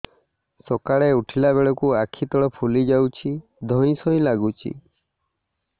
ସକାଳେ ଉଠିଲା ବେଳକୁ ଆଖି ତଳ ଫୁଲି ଯାଉଛି ଧଇଁ ସଇଁ ଲାଗୁଚି